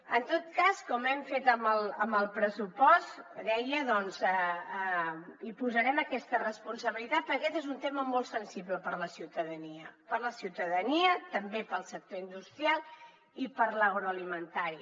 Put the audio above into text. en tot cas com hem fet amb el pressupost deia hi posarem aquesta responsabilitat perquè aquest és un tema molt sensible per a la ciutadania per a la ciutadania també per al sector industrial i per a l’agroalimentari